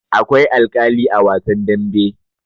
Akwai alkali a wasan dambe.